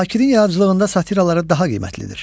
Zakirin yaradıcılığında satira daha qiymətlidir.